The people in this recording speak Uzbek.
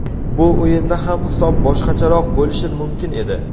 Bu o‘yinda ham hisob boshqacharoq bo‘lishi mumkin edi.